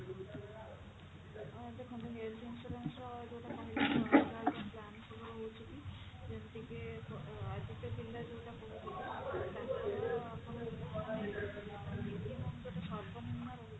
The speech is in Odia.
ଅ ଦେଖନ୍ତୁ health insurance ର ଯୋଉଟା କହିଲି ଅଲଗା ଅଲଗା bank ସବୁ ରହୁଛି ଯେମିତି କି ଆଜି କା ପିଲା ଯୋଉଟା କହୁଥିଲେ ତାଙ୍କର ଯୋଉଟା ସର୍ବ ନିମ୍ନ ରହୁଛି